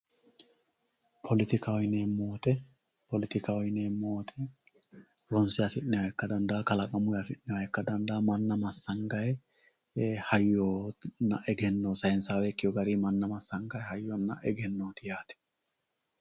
Polettikkaho yineemo woyite, polettikkaho yineemo woyite ronse afineemoha ikka danfawo kalaqamunni afineemoha ika dandawo, mana masangayi hayyonna eggeno sayinsayawe ikkewo garini mana masangayi hayyonna eggenoti yaate